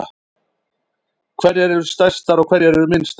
Hverjar eru stærstar og hverjar eru minnstar?